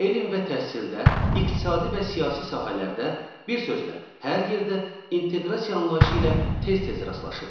Elm və təhsildə, iqtisadi və siyasi sahələrdə, bir sözlə, hər yerdə inteqrasiya anlayışı ilə tez-tez rastlaşırıq.